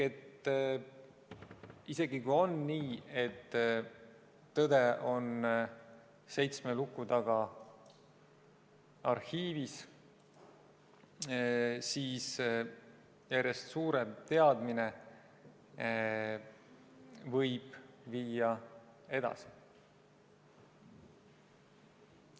Isegi kui on nii, et tõde on seitsme luku taga arhiivis, siis järjest suurem teadmine võib viia edasi.